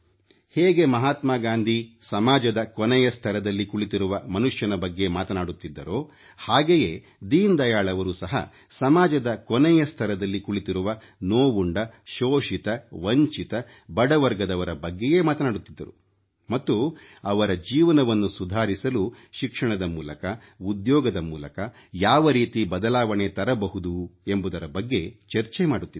ಹೇಗೆ ಮಹಾತ್ಮಾ ಗಾಂಧಿ ಅವರು ಸಮಾಜದ ಕೊನೆಯ ಸ್ತರದಲ್ಲಿ ಕುಳಿತಿರುವ ಮನುಷ್ಯನ ಬಗ್ಗೆ ಮಾತನಾಡುತ್ತಿದ್ದರೋ ಹಾಗೆಯೇ ದೀನದಯಾಳ್ ಅವರು ಸಹ ಸಮಾಜದ ಕೊನೆಯ ಸ್ತರದಲ್ಲಿ ಕುಳಿತಿರುವ ನೋವುಂಡ ಶೋಷಿತ ವಂಚಿತ ಬಡ ವರ್ಗದವರ ಬಗ್ಗೆಯೇ ಮಾತನಾಡುತ್ತಿದ್ದರು ಮತ್ತು ಅವರ ಜೀವನವನ್ನು ಸುಧಾರಿಸಲು ಶಿಕ್ಷಣದ ಮೂಲಕ ಉದ್ಯೋಗದ ಮೂಲಕ ಯಾವ ರೀತಿ ಬದಲಾವಣೆ ತರಬಹುದು ಎಂಬುದರ ಬಗ್ಗೆ ಚರ್ಚೆ ಮಾಡುತ್ತಿದ್ದರು